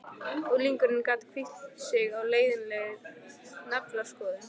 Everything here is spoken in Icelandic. Unglingurinn gat hvílt sig á leiðinlegri naflaskoðun.